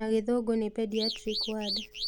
Na gĩthũngũ nĩ pediatric ward